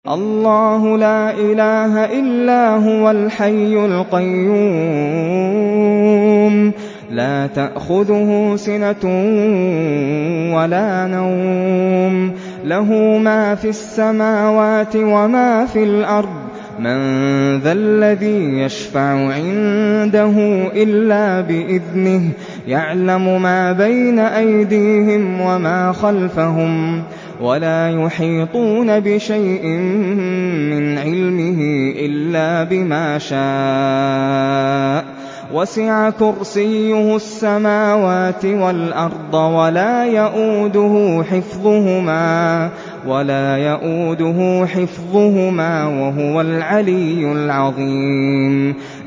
اللَّهُ لَا إِلَٰهَ إِلَّا هُوَ الْحَيُّ الْقَيُّومُ ۚ لَا تَأْخُذُهُ سِنَةٌ وَلَا نَوْمٌ ۚ لَّهُ مَا فِي السَّمَاوَاتِ وَمَا فِي الْأَرْضِ ۗ مَن ذَا الَّذِي يَشْفَعُ عِندَهُ إِلَّا بِإِذْنِهِ ۚ يَعْلَمُ مَا بَيْنَ أَيْدِيهِمْ وَمَا خَلْفَهُمْ ۖ وَلَا يُحِيطُونَ بِشَيْءٍ مِّنْ عِلْمِهِ إِلَّا بِمَا شَاءَ ۚ وَسِعَ كُرْسِيُّهُ السَّمَاوَاتِ وَالْأَرْضَ ۖ وَلَا يَئُودُهُ حِفْظُهُمَا ۚ وَهُوَ الْعَلِيُّ الْعَظِيمُ